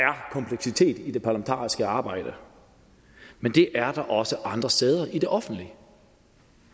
ikke i det parlamentariske arbejde men det er der også andre steder i det offentlige